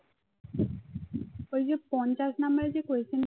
ঐ যে পঞ্চাশ number এর যে question